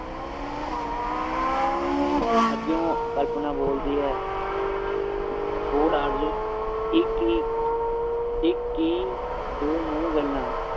ਅੱਗਿਓਂ ਕਲਪਨਾ ਬੋਲਦੀ ਹੈ ਬੋਲ ਇਕ ਹੀ ਇੱਕ ਕੀ ਦੋ ਮੂੰਹ ਗੱਲਾਂ